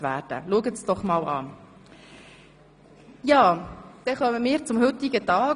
Schauen Sie sich diese Sache einfach einmal an.